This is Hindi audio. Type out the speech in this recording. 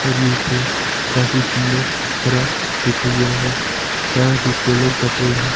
और ये पेड़ काफी सुंदर हरा दिखाई दे रहा है शायद ये केलों का पेड़ है।